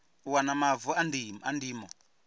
u wana mavu a ndimo